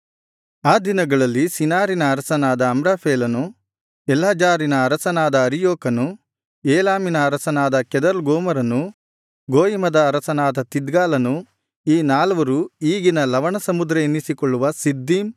ಆ ದಿನಗಳಲ್ಲಿ ಶಿನಾರಿನ ಅರಸನಾದ ಅಮ್ರಾಫೆಲನು ಎಲ್ಲಜಾರಿನ ಅರಸನಾದ ಅರಿಯೋಕನು ಏಲಾಮಿನ ಅರಸನಾದ ಕೆದೊರ್ಲಗೋಮರನು ಗೋಯಿಮದ ಅರಸನಾದ ತಿದ್ಗಾಲನು ಈ ನಾಲ್ವರು ಈಗಿನ ಲವಣಸಮುದ್ರ ಎನ್ನಿಸಿಕೊಳ್ಳುವ ಸಿದ್ದೀಮ್